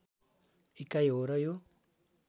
इकाइ हो र यो